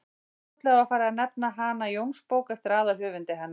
fljótlega var farið að nefna hana jónsbók eftir aðalhöfundi hennar